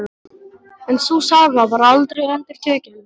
En sú saga var aldrei endurtekin.